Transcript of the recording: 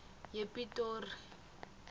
yepitori